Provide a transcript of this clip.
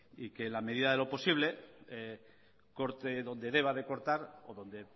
y que en la medida de lo posible corte donde deba de cortar o donde